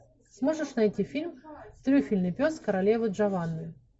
сможешь найти фильм трюфельный пес королевы джованны